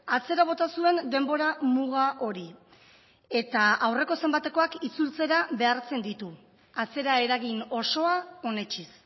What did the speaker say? atzera bota zuen denbora muga hori eta aurreko zenbatekoak itzultzera behartzen ditu atzeraeragin osoa onetsiz